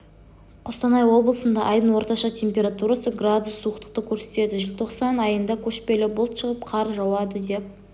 қостанай облысында айдың орташа температурасы градус суықтықты көрсетеді желтоқсан айында көшпелі бұлт шығып қар жауады деп